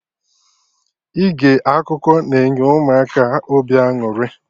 Ige akụkọ na-enye Ụmụaka obi aṅụrị